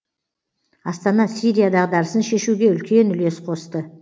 астана сирия дағдарысын шешуге үлкен үлес қосты